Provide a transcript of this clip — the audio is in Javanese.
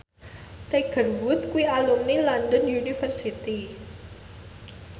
Tiger Wood kuwi alumni London University